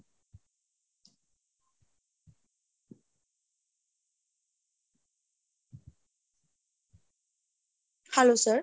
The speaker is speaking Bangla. hello sir,